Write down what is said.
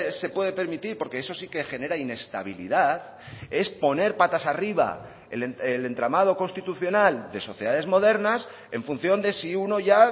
se puede permitir porque eso sí que genera inestabilidad es poner patas arriba el entramado constitucional de sociedades modernas en función de si uno ya